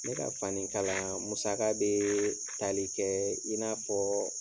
Ne ka fani kalan musaka bɛ tali kɛ i n'a fɔ